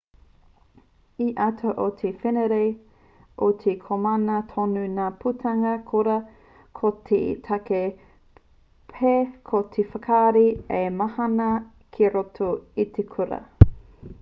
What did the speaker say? i te ata o te wenerei i te komama tonu ngā putanga kura ko te take pea ko te whakarahi ā-mahana ki roto i te kura